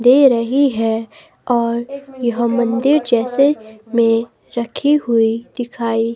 दे रही है और यहाँ मंदिर जैसे में रखी हुई दिखाई --